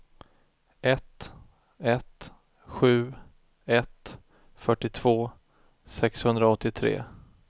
ett ett sju ett fyrtiotvå sexhundraåttiotre